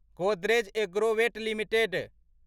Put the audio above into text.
Godrej Agrovet limited